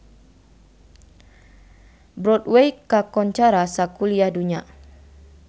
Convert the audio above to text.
Broadway kakoncara sakuliah dunya